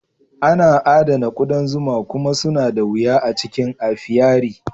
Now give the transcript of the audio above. Ana adana ƙudan zuma kuma suna da wuya a cikin apiary.